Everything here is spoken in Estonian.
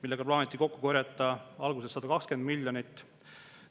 Alguses plaaniti sellega kokku korjata 120 miljonit.